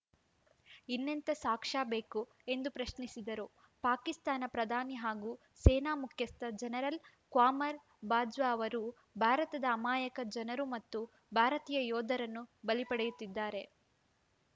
ಇನ್ನೆಂಥ ಸಾಕ್ಷ್ಯ ಬೇಕು ಎಂದು ಪ್ರಶ್ನಿಸಿದರು ಪಾಕಿಸ್ತಾನ ಪ್ರಧಾನಿ ಹಾಗೂ ಸೇನಾ ಮುಖ್ಯಸ್ಥ ಜನರಲ್‌ ಖ್ವಾಮರ್‌ ಬಾಜ್ವಾ ಅವರು ಭಾರತದ ಅಮಾಯಕ ಜನರು ಮತ್ತು ಭಾರತೀಯ ಯೋಧರನ್ನು ಬಲಿ ಪಡೆಯುತ್ತಿದ್ದಾರೆ